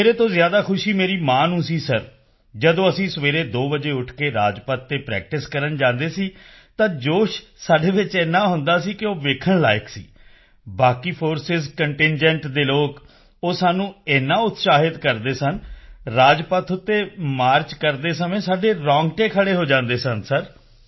ਮੇਰੇ ਤੋਂ ਜ਼ਿਆਦਾ ਖੁਸ਼ੀ ਮੇਰੀ ਮਾਂ ਨੂੰ ਸੀ ਸਰ ਜਦੋਂ ਅਸੀਂ ਸਵੇਰੇ 2 ਵਜੇ ਉੱਠ ਕੇ ਰਾਜਪੱਥ ਤੇ ਪ੍ਰੈਕਟਿਸ ਕਰਨ ਜਾਂਦੇ ਸਾਂ ਤਾਂ ਜੋਸ਼ ਸਾਡੇ ਵਿੱਚ ਇੰਨਾ ਹੁੰਦਾ ਸੀ ਕਿ ਉਹ ਵੇਖਣ ਲਾਇਕ ਸੀ ਬਾਕੀ ਫੋਰਸਿਸ ਕੰਟਿੰਜੈਂਟ ਦੇ ਲੋਕ ਉਹ ਸਾਨੂੰ ਇੰਨਾ ਉਤਸ਼ਾਹਿਤ ਕਰਦੇ ਸਨ ਰਾਜਪੱਥ ਤੇ ਮਾਰਚ ਕਰਦੇ ਸਮੇਂ ਸਾਡੇ ਰੌਂਗਟੇ ਖੜ੍ਹੇ ਹੋ ਜਾਂਦੇ ਸਨ ਸਰ